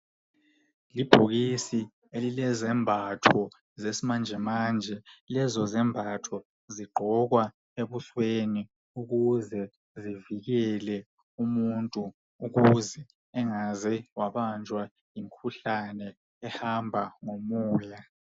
Ibhokisi elilezembatho zesimanjemanje. Lezo zembatho zigqokwa ebusweni ukuze zivikele umuntu ukuze engaze wabanjwa yimikhuhlane ehamba ngomoya.